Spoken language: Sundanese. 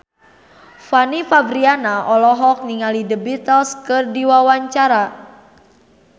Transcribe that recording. Fanny Fabriana olohok ningali The Beatles keur diwawancara